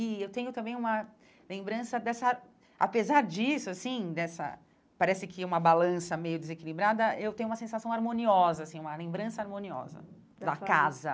E eu tenho também uma lembrança dessa... Apesar disso, assim, dessa... parece que uma balança meio desequilibrada, eu tenho uma sensação harmoniosa, assim, uma lembrança harmoniosa da casa.